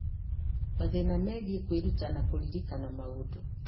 mathĩna megiĩ kwĩruta na kũririkana maũndũ.